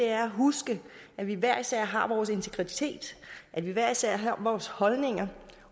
er at huske at vi hver især har vores integritet at vi hver især har vores holdninger